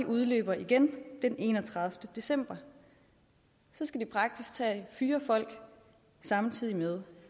udløber igen den enogtredivete december så skal de praktisk taget fyre folk samtidig med